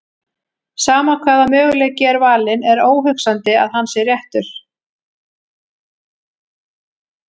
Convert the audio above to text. Sama hvaða möguleiki er valinn er óhugsandi að hann sé réttur.